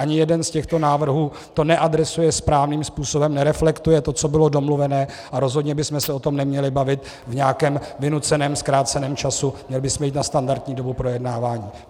Ani jeden z těchto návrhů to neadresuje správným způsobem, nereflektuje to, co bylo domluvené, a rozhodně bychom se o tom neměli bavit v nějakém vynuceném zkráceném čase, měli bychom jít na standardní dobu projednávání.